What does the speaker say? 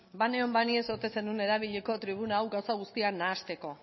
banengoen ba ni ez ote zenuen erabiliko tribuna hau gauza guztiak nahasteko